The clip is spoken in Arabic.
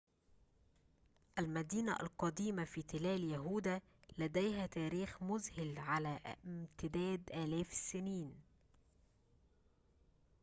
المدينة القديمة في تلال يهودا لديها تاريخ مذهل على امتداد آلاف السنين